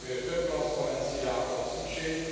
több transzparenciára van szükség.